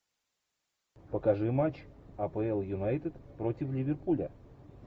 покажи матч апл юнайтед против ливерпуля